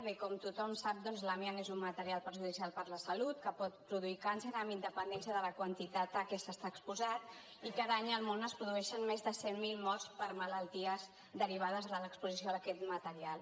bé com tothom sap doncs l’amiant és un material perjudicial per a la salut que pot produir càncer amb independència de la quantitat a què s’ha estat exposat i cada any al món es produeixen més de cent mil morts per malalties derivades de l’exposició a aquest material